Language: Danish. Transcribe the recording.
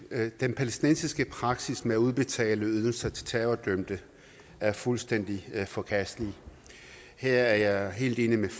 at den palæstinensiske praksis med at udbetale ydelser til terrordømte er fuldstændig forkastelig her er jeg helt